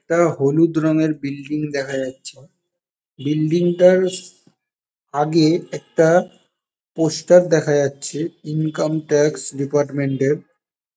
একটা হলুদ রঙের বিল্ডিং দেখা যাচ্ছে। বিল্ডিং -টার আগে একটা পোস্টার দেখা যাচ্ছে ইনকাম ট্যাক্স ডিপার্টমেন্ট -এর।